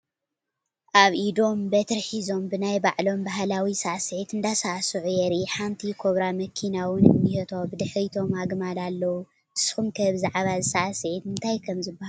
ኣብ ኢዶም በትሪ ሒዞም ብናይ ባዕሎም ባህላዊ ሳዕሲዒት እንዳሳዕስዑ የርኢ፡፡ ሓንቲ ኮብራ መኪና ውን እኒሄቶ፡፡ ብድሕሪቶም ኣግማል ኣለው፡፡ ንስኹም ከ ብዛዕባ እዚ ሳዕሲዒት እንታይ ከምዝባሃል ዶ ትፈልጡ?